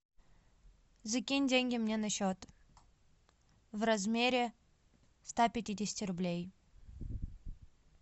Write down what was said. закинь деньги мне на счет в размере ста пятидесяти рублей